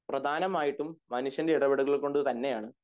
പ്രധാനമായിട്ടും മനുഷ്യന്റെ ഇടപെടലുകൾ കൊണ്ട് തന്നെ ആണ്